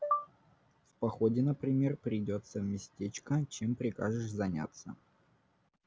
в походе например придётся в местечко чем прикажешь заняться